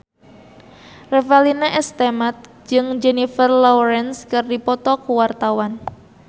Revalina S. Temat jeung Jennifer Lawrence keur dipoto ku wartawan